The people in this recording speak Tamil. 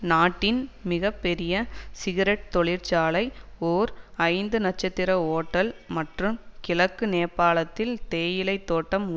நாட்டின் மிக பெரிய சிகெரெட் தொழிற்சாலை ஓர் ஐந்துநட்சத்திர ஓட்டல் மற்றும் கிழக்கு நேபாளத்தில் தேயிலை தோட்டம்